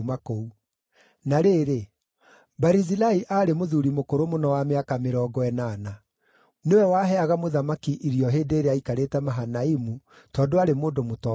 Na rĩrĩ, Barizilai aarĩ mũthuuri mũkũrũ mũno wa mĩaka mĩrongo ĩnana. Nĩwe waheaga mũthamaki irio hĩndĩ ĩrĩa aikarĩte Mahanaimu, tondũ aarĩ mũndũ mũtongu mũno.